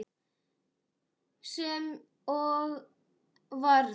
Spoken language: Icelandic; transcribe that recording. Sem og varð.